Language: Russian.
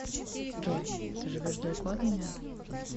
джой ты живешь далеко от меня